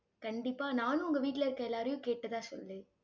கண்டிப்பா, நானும் உங்க வீட்டுல இருக்க எல்லாரையும் கேட்டதா சொல்லு